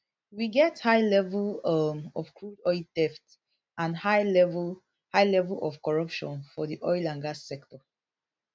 we get high level um of crude oil theft and high level high level of corruption for di oil and gas sector